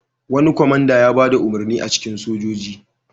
Wani kwamanda ya ba da umarni a cikin sojoji.